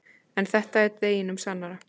En þetta er deginum sannara.